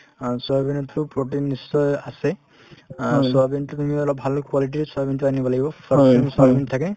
অ, soybean তো protein নিশ্চয় আছে আৰু soybean তো কিনিলে অলপ ভাল quality ৰ soybean তো আনিব লাগিব fortune soybean থাকে